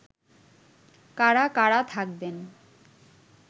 কারা কারা থাকবেন